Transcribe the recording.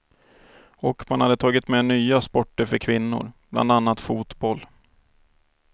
Och man hade tagit med nya sporter för kvinnor, bland annat fotboll.